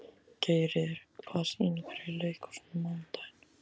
Geirríður, hvaða sýningar eru í leikhúsinu á mánudaginn?